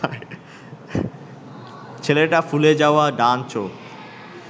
ছেলেটা ফুলে যাওয়া ডান চোখ